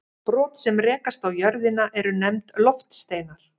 Brot sem rekast á jörðina eru nefnd loftsteinar.